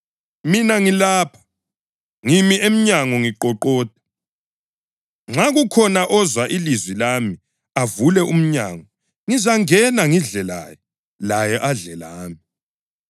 Mina ngilapha! Ngimi emnyango ngiqoqoda. Nxa kukhona ozwa ilizwi lami avule umnyango, ngizangena ngidle laye, laye adle lami.